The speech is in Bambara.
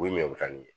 U ye minɛ u bɛ taa ni